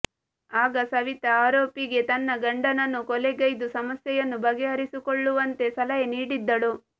ಆಗ ಸವಿತಾ ಆರೋಪಿಗೆ ತನ್ನ ಗಂಡನನ್ನು ಕೊಲೆಗೈದು ಸಮಸ್ಯೆಯನ್ನು ಬಗೆಹರಿಸಿಕೊಳ್ಳುವಂತೆ ಸಲಹೆ ನೀಡಿದ್ದಳು